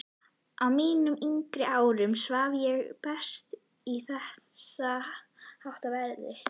Á mínum yngri árum svaf ég best í þessháttar veðri.